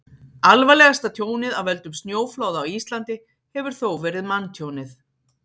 Alvarlegasta tjónið af völdum snjóflóða á Íslandi hefur þó verið manntjónið.